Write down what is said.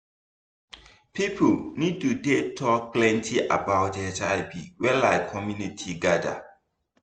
people need to dey talk plenty about hiv when like community gather